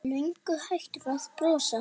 Löngu hættur að brosa.